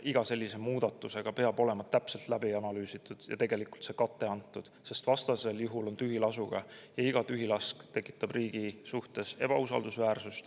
Iga selline muudatus peab olema täpselt läbi analüüsitud ja sellele kate antud, sest vastasel juhul on tühilasuga ja iga tühilask riigi ebausaldusväärseks.